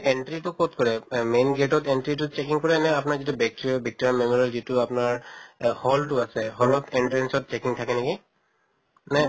entry টো কʼত কৰে এহ main gate ত entry তো checking কৰে আপোনাৰ যিটো victoria memorial যিটো আপোনাৰ অ hall টো আছে, hall ৰ entrance ত checking থাকে নেকি? নে